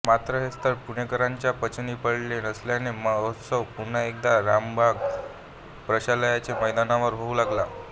मात्र हे स्थळ पुणेकरांच्या पचनी पडले नसल्याने महोत्सव पुन्हा एकदा रमणबाग प्रशालेच्या मैदानावर होऊ लागला